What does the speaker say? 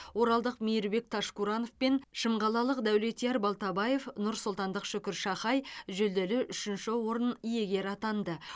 оралдық мейірбек ташкуранов пен шымқалалық дәулетияр балтабаев нұрсұлтандық шүкір шахай жүлделі үшінші орын иегері атанды